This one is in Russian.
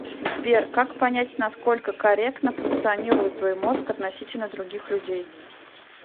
сбер как понять насколько корректно функционирует твой мозг относительно других людей